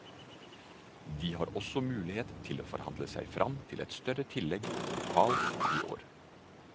De har også mulighet til å forhandle seg frem til større tillegg lokalt i år.